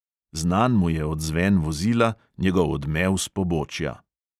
Znan mu je odzven vozila, njegov odmev s pobočja.